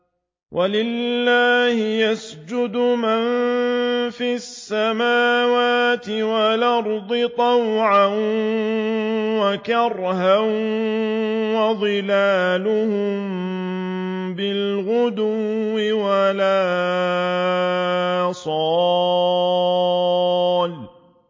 وَلِلَّهِ يَسْجُدُ مَن فِي السَّمَاوَاتِ وَالْأَرْضِ طَوْعًا وَكَرْهًا وَظِلَالُهُم بِالْغُدُوِّ وَالْآصَالِ ۩